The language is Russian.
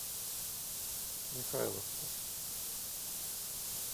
михайловска